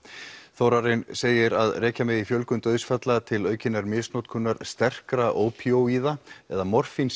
Þórarinn segir að rekja megi fjölgun dauðsfalla til aukinnar misnotkunar sterkra ópíóíða eða